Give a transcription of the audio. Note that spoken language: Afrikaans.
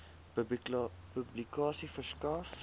publikasie verskaf